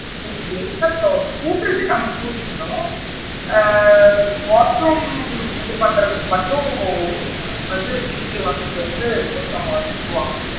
கூடுறது நம்ம கூடிக்கனும் ஆ washroom இது பண்றதுக்கு மட்டும் வந்து weekly once வந்து ஒருத்தர் வந்துட்டு போவாங்க.